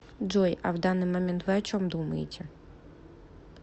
джой а в данный момент вы о чем думаете